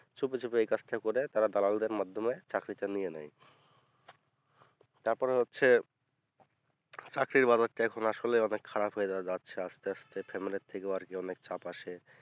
চুপিচুপি এই কাজটা করে তারা দালালদের মাধ্যমে চাকরিটা নিয়ে নেয় তারপরে হচ্ছে চাকরির বাজারটা আসলেই অনেক খারাপ হয়ে যা যাচ্ছে আসাতে আস্তে family র থিকে ও আরকি অনেক চাপ আসে